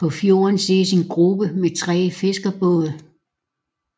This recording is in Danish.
På fjorden ses en gruppe med tre fiskerbåde